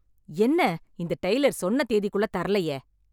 என்ன இந்த டைலர் சொன்ன தேதிக்குள்ள தரலயே.